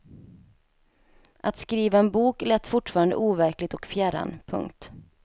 Att skriva en bok lät fortfarande overkligt och fjärran. punkt